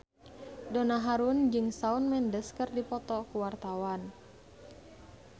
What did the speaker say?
Donna Harun jeung Shawn Mendes keur dipoto ku wartawan